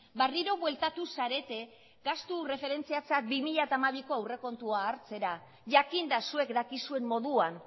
berriro bueltatu zarete gastu erreferentziatzat bi mila hamabiko aurrekontua hartzera jakinda zuek dakizuen moduan